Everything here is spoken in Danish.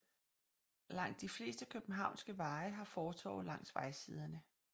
Langt de fleste københavnske veje har fortove langs vejsiderne